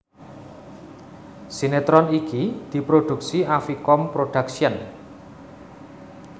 Sinetron iki diproduksi Avicom Production